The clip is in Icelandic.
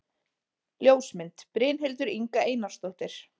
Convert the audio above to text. Ljósmynd: Brynhildur Inga Einarsdóttir